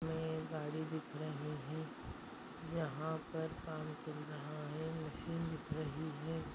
इसमे एक गाड़ी दिख रही हैं यहाँ पर पार्किंग रहा हैं मशीन दिख रही हैं।